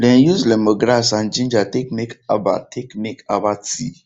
dem use lemongrass and ginger take make herbal take make herbal tea